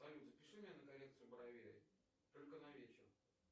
салют запиши меня на коррекцию бровей только на вечер